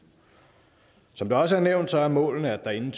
som det også er nævnt er målene at der inden